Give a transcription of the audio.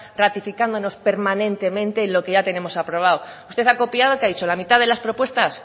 ratificándonos permanentemente en lo que ya tenemos aprobado usted ha copiado qué ha dicho la mitad de las propuestas